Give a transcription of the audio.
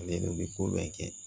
Ale de bɛ ko bɛɛ kɛ